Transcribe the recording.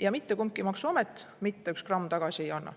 ja mitte kumbki maksuamet mitte üks gramm tagasi ei anna.